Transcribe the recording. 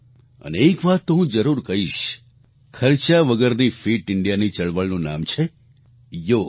અને એક વાત તો હું જરૂર કહીશ ખર્ચા વગરની ફિટ Indiaની ચળવળનું નામ છે યોગ